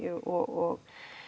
og